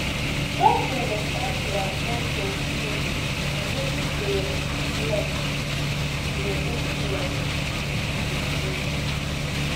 try to understand their point of view and wetin dey influence di influence di view